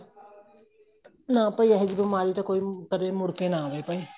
ਨਾਂ ਭਾਈ ਅਹਿਜੀ ਬੀਮਾਰੀ ਤਾਂ ਕੋਈ ਕਦੇਂ ਮੁੜ ਕੇ ਨਾ ਆਵੇ ਭਾਈ